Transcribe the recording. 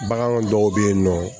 Bagan dɔw bɛ yen nɔ